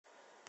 сбер куражник